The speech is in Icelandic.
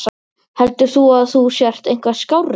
Heldur þú að þú sért eitthvað skárri?